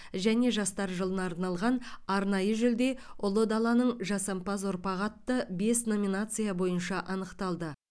және жастар жылына арналған арнайы жүлде ұлы даланың жасампаз ұрпағы атты бес номинация бойынша анықталды